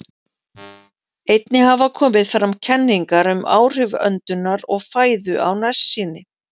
Einnig hafa komið fram kenningar um áhrif öndunar og fæðu á nærsýni.